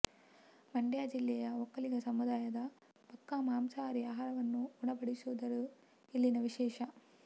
ಮಂಡ್ಯ ಜಿಲ್ಲೆಯ ಒಕ್ಕಲಿಗ ಸಮುದಾಯದ ಪಕ್ಕಾ ಮಾಂಸಾಹಾರಿ ಆಹಾರವನ್ನು ಉಣಬಡಿಸುತ್ತಿರುವುದು ಇಲ್ಲಿನ ವಿಶೇಷ